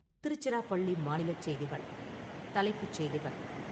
திருச்சிராப்பள்ளி மாநிலச் செய்திகள் தலைப்புச் செய்திகள்